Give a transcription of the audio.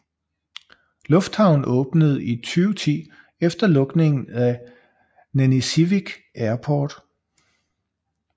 Lufthavnen åbnede i 2010 efter lukningen af Nanisivik Airport